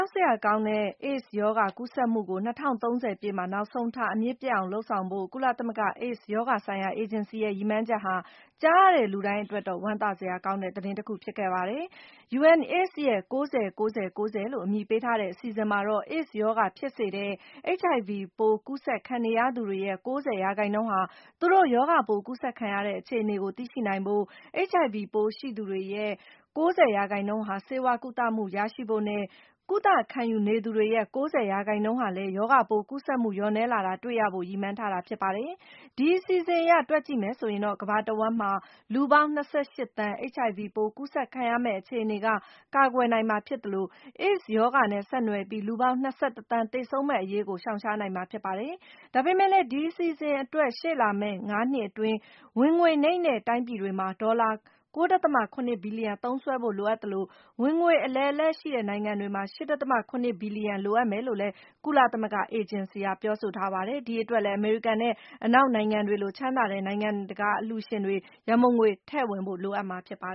ောက်စရာကောင်းတဲ့ AIDS ရောဂါ ကူးစက်မှုကို ၂၀၃၀ ပြည့်မှာ နောက်ဆုံးထား အမြစ်ပြတ်အောင်လုပ်ဆောင်ဖို့ ကုလသမဂ္ဂ AIDS ရောဂါဆိုင်ရာ အေဂျင်စီရဲ့ ရည်မှန်းချက်ဟာ၊ ကြားရတဲ့လူတိုင်းအတွက်တော့ ဝမ်းသာစရာ သတင်းကောင်းတခု ဖြစ်ပါတယ်။ UNAIDS ရဲ့ ၉၀-၉၀-၉၀ လို့ အမည်ပေးထားတဲ့ အစီအစဉ်မှာတော့ AIDS ရောဂါဖြစ်စေတဲ့ HIV ပိုး ကူးစက်ခံနေရသူတွေရဲ့ ၉၀ ရာခိုင်နှုန်းဟာ သူတို့ရောဂါပိုး ကူးစက်ခံရတဲ့ အခြေအနေကို သိရှိနိုင်ဖို့၊ HIV ပိုးရှိသူတွေရဲ့ ၉၀ ရာခိုင်နှုန်းဟာ ဆေးဝါးကုသမှု ရရှိဖို့နဲ့၊ ကုသမှုခံယူနေသူတွေရဲ့ ၉၀ ရာခိုင်နှုန်းဟာလည်း ရောဂါပိုးကူးစက်မှု လျော့နည်းလာတာ တွေ့ရဖို့ ရည်မှန်းထားပါတယ်။ ဒီအစီအစဉ်အရ တွက်ကြည့်မယ်ဆိုရင်တော့ - ကမ္ဘာတဝှမ်းမှာ လူပေါင်း ၂၈ သန်း HIV ပိုး ကူးစက်ခံရမယ့် အခြေအနေက ကာကွယ်နိုင်မှာ ဖြစ်သလို၊ AIDS ရောဂါနဲ့ ဆက်နွယ်ပြီး လူပေါင်း ၂၁ သန်း သေဆုံးမယ့်အရေးကို ရှောင်ရှားနိုင်မှာ ဖြစ်ပါတယ်။ ဒါပေမဲ့လည်း ဒီအစီအစဉ်အတွက်၊ ရှေ့လာမယ့် ၅ နှစ်အတွင်း ဝင်ငွေနိမ့်တဲ့ တိုင်းပြည်တွေမှာ ဒေါ်လာ ၉.၇ ဘီလီယံ သုံးစွဲဖို့ လိုအပ်သလို၊ ဝင်ငွေအလယ်အလတ်ရှိတဲ့ နိုင်ငံတွေမှာ ၈.၇ ဘီလီယံ လိုအပ်မယ်လို့လည်း ကုလသမဂ္ဂ အေဂျင်စီက ပြောပါတယ်။ ဒီအတွက်လည်း အမေရိကန်နဲ့ အနောက်နိုင်ငံတွေလို ချမ်းသာတဲ့ နိုင်ငံတကာ အလှူရှင်တွေ ရန်ပုံငွေ ထည့်ဝင်ဖို့ လိုအပ်မှာပါ